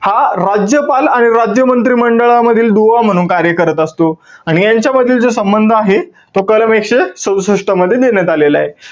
हा राज्यपाल आणि राज्य मंत्री मंडळालामधील दुवा म्हणून कार्य करत असतो. आणि यांच्यामधील जो संबंध आहे, तो कलम एकशे सदुसष्ट मध्ये देण्यात आलेलाय.